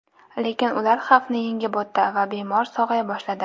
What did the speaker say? Lekin ular xavfni yengib o‘tdi va bemor sog‘aya boshladi.